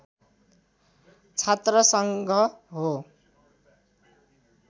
छात्रसङ्घ हो